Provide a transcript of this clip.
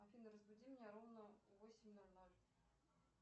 афина разбуди меня ровно в восемь ноль ноль